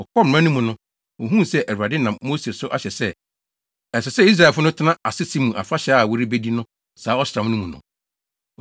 Wɔkɔɔ mmara no mu no, wohuu sɛ Awurade nam Mose so ahyɛ sɛ, ɛsɛ sɛ Israelfo no tena asese mu afahyɛ a wɔrebedi no saa ɔsram no mu no.